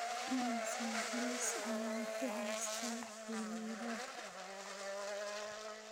Immisa liis ayaan ku haystaa xiriirada?